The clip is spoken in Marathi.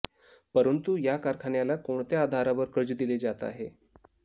परंतु या कारखान्याला कोणत्या आधारावर कर्ज दिले जात आहे